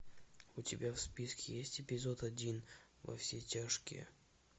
у тебя в списке есть эпизод один во все тяжкие